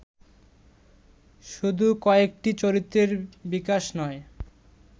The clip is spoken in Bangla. শুধু কয়েকটি চরিত্রের বিকাশ নয়